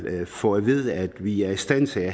får at vide at vi er i stand til